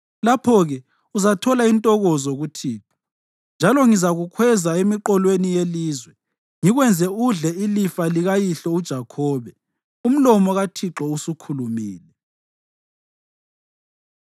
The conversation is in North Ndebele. lapho-ke uzathola intokozo kuThixo, njalo ngizakukhweza emiqolweni yelizwe, ngikwenze udle ilifa likayihlo uJakhobe.” Umlomo kaThixo usukhulumile.